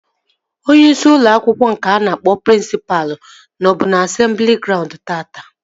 Onyeisi ụlọ akwụkwọ nke a na-akpọ prịnsịpa nọbu asemblị graund taata